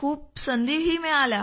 खूप संधीही मिळाल्या